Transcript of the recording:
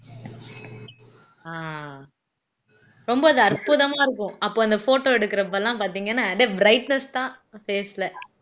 ரொம்ப இது அற்புதமா இருக்கும் அப்ப அந்த photo எடுக்கறப்ப எல்லாம் பாத்தீங்கன்னா அப்படியே brightness தான் face ல